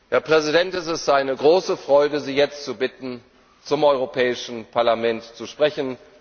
Herr Präsident, es ist mir eine große Freude, Sie jetzt zu bitten, zum Europäischen Parlament zu sprechen.